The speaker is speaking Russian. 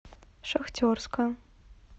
шахтерска